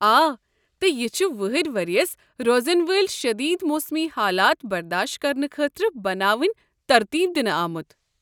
آ، تہٕ یہِ چھُ وٕہٕرۍ ؤرییس روزن وٲلۍ شٔدیٖد موسمی حالات برداش کرنہٕ خٲطرٕ بناونہٕ ترتیب دِنہٕ آمُت۔